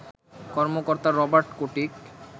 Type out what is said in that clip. কর্মকর্তা Robert chaotic